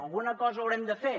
alguna cosa haurem de fer